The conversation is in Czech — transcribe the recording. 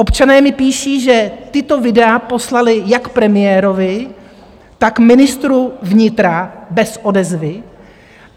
Občané mi píší, že tato videa poslali jak premiérovi, tak ministru vnitra - bez odezvy.